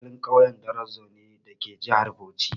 Mu 'yan asalin ƙauyen Darazo ne dake jihar Bauchi.